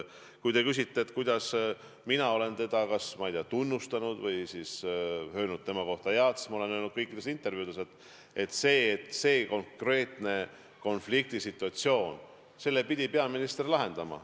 Kui te küsite, kuidas mina olen teda tunnustanud või kus tema kohta midagi head öelnud, siis ma olen öelnud kõikides intervjuudes, et selle konkreetse konfliktsituatsiooni pidi peaminister lahendama.